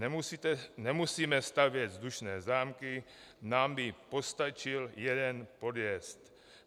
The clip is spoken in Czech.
Nemusíme stavět vzdušné zámky, nám by postačil jeden podjezd.